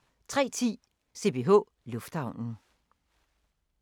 03:10: CPH Lufthavnen